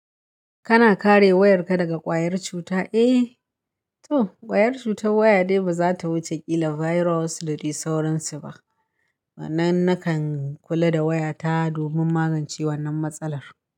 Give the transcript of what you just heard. Kana kare wayarka daga ƙwayar cuta? Eh to, ƙwayar cutar waya dai ba za ta wuce ƙila virus da dai sauransu ba. Wannan nakan kula da wayata domin magance wannan matsalar.